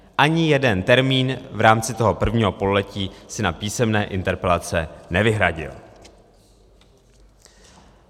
Ani jeden termín v rámci toho prvního pololetí si na písemné interpelace nevyhradil.